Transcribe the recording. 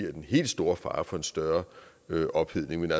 den helt store fare for en større ophedning men